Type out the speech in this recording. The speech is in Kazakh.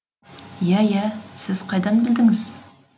и ә йә сіз қайдан білдіңіз